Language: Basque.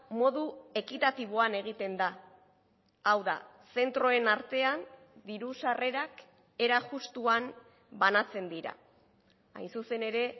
modu ekitatiboan egiten da hau da zentroen artean diru sarrerak era justuan banatzen dira hain zuzen ere